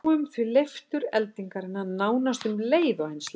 Við sjáum því leiftur eldingarinnar nánast um leið og henni slær niður.